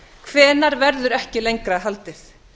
hvenær verður ekki lengra haldið